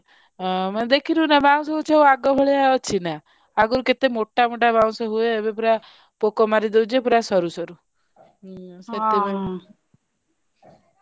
ମାନେ ଦେଖିନୁ ନା ବାଉଁଶ ଗଛ ଆଗ ଭଳିଆ ଅଛିନା ଆଗରୁ କେତେ ମୋଟା ମୋଟା ବାଉଁଶ ହୁଏ ଏବେ ପୁରା ପୋକ ମାରି ଦଉଛି ପୁରା ସରୁ ସରୁ।